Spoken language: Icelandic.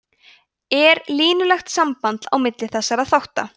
er línulegt samband á milli þessara þátta